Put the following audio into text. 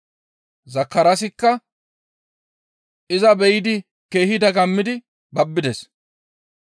Zakaraasikka iza be7idi keehi dagammidi babbides.